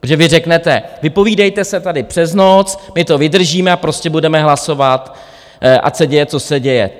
Protože vy řeknete, vypovídejte se tady přes noc, my to vydržíme a prostě budeme hlasovat, ať se děje, co se děje.